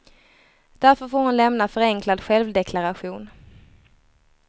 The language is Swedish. Därför får hon lämna förenklad självdeklaration.